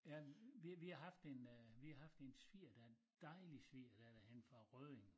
Ja vi vi har haft en øh vi har haft en sviger en dejlig svigerdatter henne fra Rødding